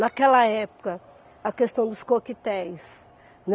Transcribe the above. Naquela época, a questão dos coquetéis.